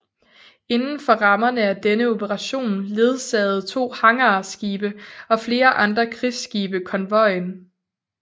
Inden for rammerne af denne operation ledsagede to hangarskibe og flere andre krigsskibe konvojen